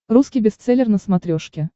русский бестселлер на смотрешке